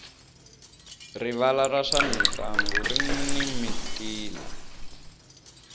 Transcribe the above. rivala ra swa mintlangu rini mintila